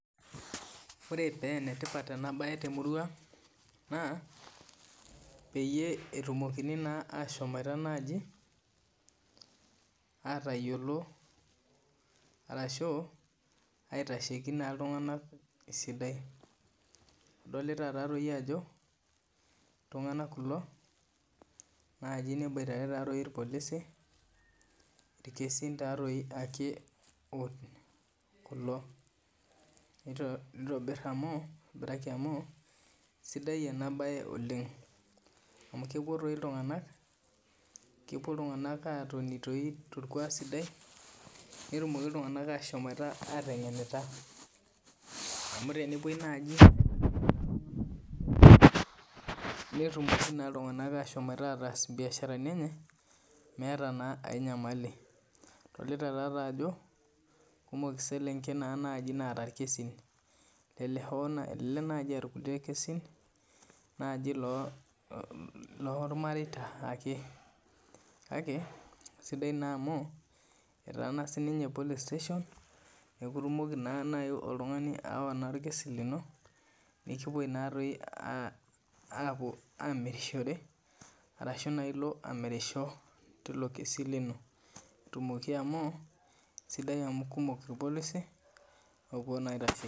Ore pee enetipat ena mbae temurua naa petumokini naaji ahomo atayiolo arashu aitasheki iltung'ana esidai edolita Ajo iltung'ana kulo naaji eboitare taadoi irpolisi irkesin taadoi ake kulo nitobiraki amu sidai ena mbae oleng amu kepuo iltung'ana atoni torkuak sidai netumoki iltung'ana ashom atengenita netumoki naa iltung'ana ashom ataas biasharani enye meeta naa ai nyamali edol Ajo kumok eselenken naata irkesin elelek naaji aa irkuti kesin naaji loo irmareita ake kake sidai naa amu ketaana sininye police station neeku etumoki naaji oltung'ani awa orkesi lino nikipuoi apuo amirishore ashu kipuo amirissho netumoki amu sidai amu kumok irpolisi opuo naa aitasheki